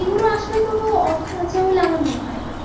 এর কোনও অর্থ আছে বলে আমার মনে হই না